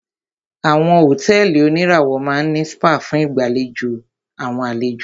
Àwọn hotẹ́ẹ́li oníràwọ̀ máà ní spa fún ìgbàdùn àwọn àlejò.